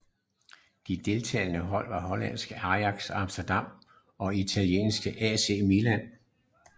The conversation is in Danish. De deltagende hold var hollandske Ajax Amsterdam og italienske AC Milan